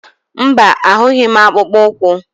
Mba, ahụghị m akpụkpọ ụkwụ.